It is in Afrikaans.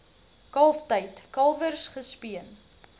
kalftyd kalwers gespeen